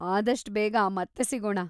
ಆದಷ್ಟ್ ಬೇಗ ಮತ್ತೆ ಸಿಗೋಣ!